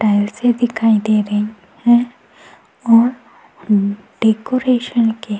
tiles दिखाई दे रही है और अ डेकोरेशन के --